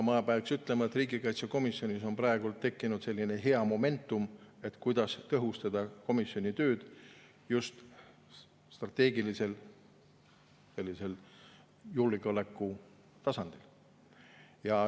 Ma pean ütlema, et riigikaitsekomisjonis on praegu tekkinud selline hea momentum, kuidas tõhustada komisjoni tööd just strateegilisel, sellisel julgeoleku tasandil.